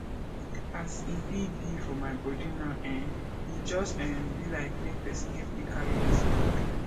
as e be be for my body now eh e just um be like make pesin help me carry dis load